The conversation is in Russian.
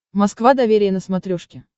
москва доверие на смотрешке